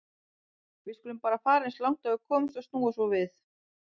Við skulum bara fara eins langt og við komumst og snúa svo við.